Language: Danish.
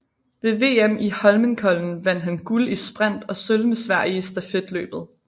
Ved VM i Holmenkollen vandt han guld i sprint og sølv med Sverige i stafetløbet